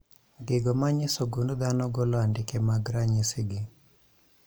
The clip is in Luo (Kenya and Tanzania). Gigo manyiso gund dhano golo andike mag ranyisi gi